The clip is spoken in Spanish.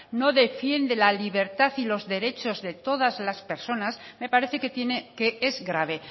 no defiende la libertad y los derechos de todas las personas me parece que tiene que es grave